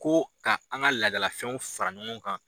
Ko ka an ka ladalafɛnw fara ɲɔgɔn kan.